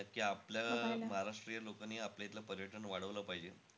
नक्की. आपल्या अं महाराष्टीयन लोकांनी आपल्या इथलं पर्यटन वाढवलं पाहिजे.